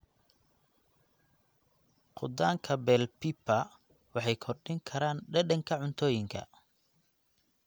Khudaanka bell pepper waxay kordhin karaan dhadhanka cuntooyinka.